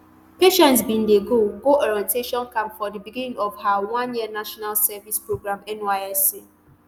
patience bin dey go go orientation camp for di beginning of her oneyear national service programme nysc